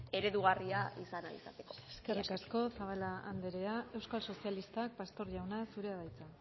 eredugarria izan ahal izateko eskerrik asko eskerrik asko zabala anderea euskal sozialistak pastor jauna zurea da hitza